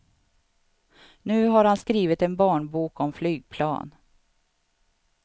Nu har han skrivit en barnbok om flygplan.